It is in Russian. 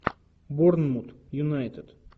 борнмут юнайтед